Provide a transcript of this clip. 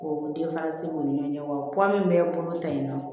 K'o u ni ɲɔgɔncɛ wa min bɛ bolo ta in nɔ